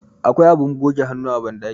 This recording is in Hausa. akwai abin goge hannu a bandaki